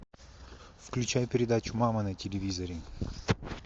включай передачу мама на телевизоре